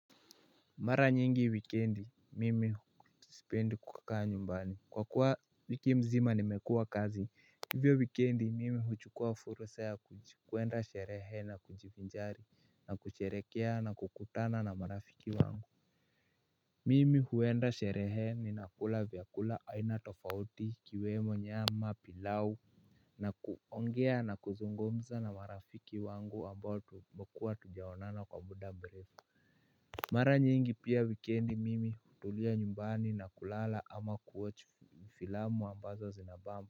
Mara nyingi wikendi, mimi sipendi kukaa nyumbani kwa kuwa wiki mzima nimekuwa kazi. Hivyo wikendi mimi huchukua fursa ya kuenda sherehe na kujivinjari na kusherehekea na kukutana na marafiki wangu mimi huenda sherehe ninakula vyakula aina tofauti ikiwemo nyama, pilau na kuongea na kuzungumza na marafiki wangu ambao tumekuwa hatujaonana kwa muda mrefu mara nyingi pia wikendi mimi hutulia nyumbani na kulala ama kuwatch filamu ambazo zinabamba.